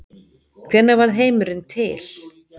hvenær varð heimurinn til